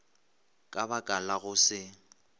ka baka la go se